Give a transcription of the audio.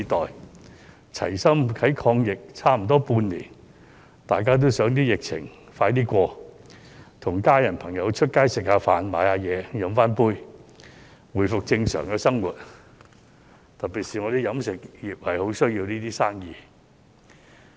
在齊心抗疫差不多半年，大家也希望疫情盡快過去，與家人朋友外出吃飯，買東西，喝一杯，回復正常的生活，特別是飲食業十分需要這些生意。